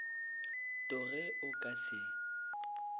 to ge o ka se